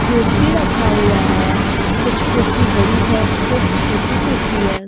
कुर्सी रखा हुआ है कुछ कुर्सी बड़ी है कुछ छोटी कुर्सी है।